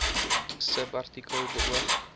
subartikel beoog